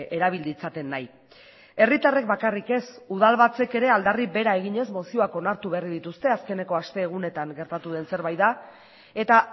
erabil ditzaten nahi herritarrek bakarrik ez udalbatzek ere aldarri bera eginez mozioak onartu berri dituzte azkeneko astegunetan gertatu den zerbait da eta